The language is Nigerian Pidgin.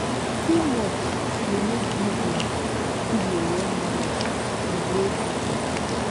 teamwork de make business fit de run well and grow bigger